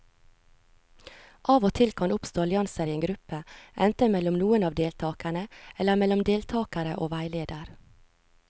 Av og til kan det oppstå allianser i en gruppe, enten mellom noen av deltakerne eller mellom deltakere og veileder.